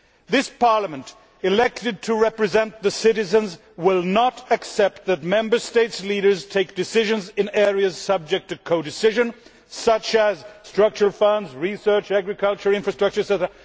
This Parliament, elected to represent the citizens, will not accept that Member States' leaders take decisions in areas subject to codecision such as Structural Funds, research, agricultural infrastructure, etc.,